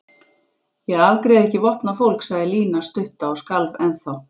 Ég afgreiði ekki vopnað fólk sagði Lína stutta og skalf ennþá.